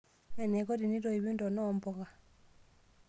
Enaikoni teneitoipi ntona oompuka.